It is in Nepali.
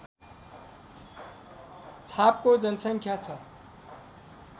छापको जनसङ्ख्या छ